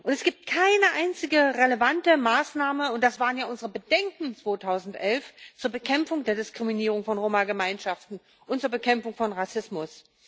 Es gibt keine einzige relevante Maßnahme und das waren ja unsere Bedenken 2011 zur Bekämpfung der Diskriminierung von Roma Gemeinschaften und zur Bekämpfung von Rassismus.